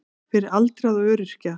Fyrir aldraða og öryrkja.